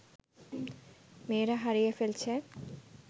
মেয়েরা হারিয়ে ফেলছে